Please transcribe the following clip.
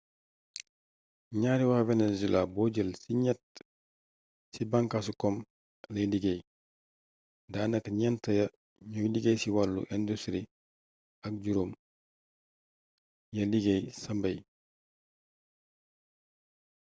ñaari wa venezuela boo jël ci ñett ci bànkaasi kom lay liggéey daa naka ñent ya ñooy liggéey ci wàllu industri ak juróom ya liggéey ca mbey